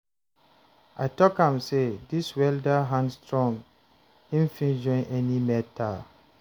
I tok am sey dis welder hand strong, him fit join any metal.